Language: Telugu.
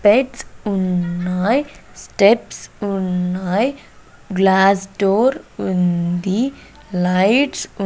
లైట్స్ ఉన్నాయ్ స్టెప్స్ ఉన్నాయ్ గ్లాస్ డోర్ ఉంది లైట్స్ --